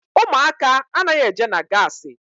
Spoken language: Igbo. Ụmụaka anaghị eje na gaasi.